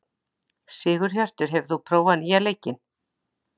Sigurhjörtur, hefur þú prófað nýja leikinn?